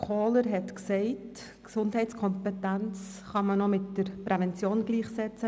Kohler hat gesagt, Gesundheitskompetenz könne man mit Prävention gleichsetzen.